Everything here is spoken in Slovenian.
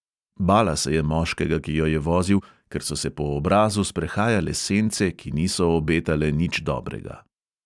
Bala se je moškega, ki jo je vozil, ker so se po obrazu sprehajale sence, ki niso obetale nič dobrega.